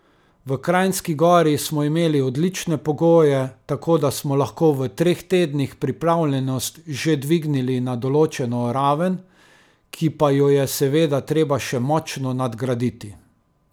V Kranjski Gori smo imeli odlične pogoje, tako da smo lahko v treh tednih pripravljenost že dvignili na določeno raven, ki pa jo je seveda treba še močno nadgraditi.